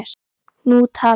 Nú talaði